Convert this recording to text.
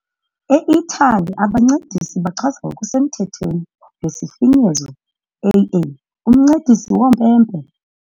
E- Italy, abaNcedisi bachazwa ngokusemthethweni ngesifinyezo AA, "uMncedisi woMpempe" .